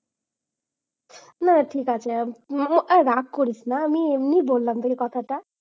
না ঠিক আছে। আর আরে রাগ করিস না আমি এমনি বললাম রে কথাটা।